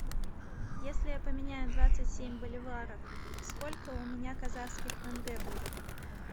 если я поменяю двадцать семь боливаров сколько у меня казахских тенге будет